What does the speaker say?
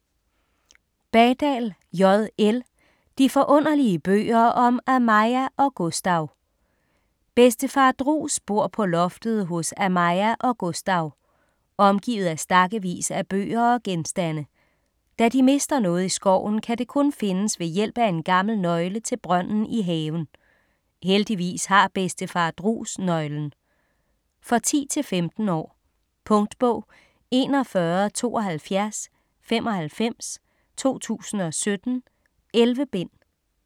Badal, J. L.: De forunderlige bøger om Amaia og Gustau Bedstefar Drus bor på loftet hos Amais og Gustau. Omgivet af stakkevis af bøger og genstande. Da de mister noget i skoven, kan det kun findes ved hjælp af en gammel nøgle til brønden i haven. Heldigvis har bedstefar Drus nøglen. For 10-15 år. Punktbog 417295 2017. 11 bind.